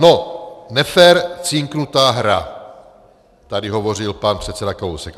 No, nefér cinknutá hra, tady hovořil pan předseda Kalousek.